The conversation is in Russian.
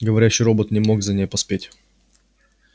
говорящий робот не мог за ней поспеть